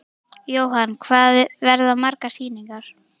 Jóhann: Hvað verða margar sýningar?